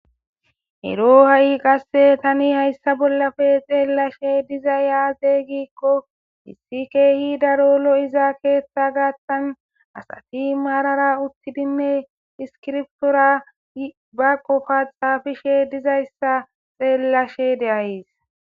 Ero ha'i qase Tani haysa bollappe xellashe dizzy aze giko issi kehi daro lo'iza ketha gathan asati marara utidine issikibiritora ba sofa xafishe dizaysa xellashe de'aysi.